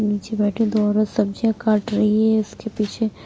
नीचे बैठे दो औरत सब्जियां काट रही है उसके पीछे--